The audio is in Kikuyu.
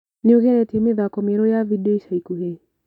Nĩũgeretie mĩthako mĩerũ ya vindeo ica ikuhĩ?